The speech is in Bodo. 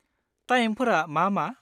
टाइमफोरा मा मा?